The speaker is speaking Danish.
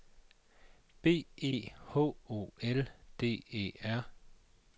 B E H O L D E R